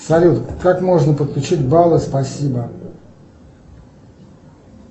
салют как можно подключить баллы спасибо